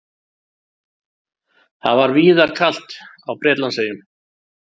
Það var víðar kalt á Bretlandseyjum